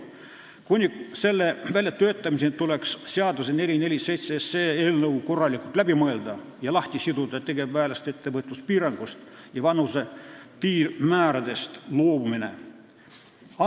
Kuni selle väljatöötamiseni tuleks seaduseelnõu 447 korralikult läbi mõelda ning tegevväelaste ettevõtluspiirangust ja vanuse piirmääradest loobumine sellest lahti siduda.